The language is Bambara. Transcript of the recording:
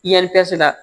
I yan se la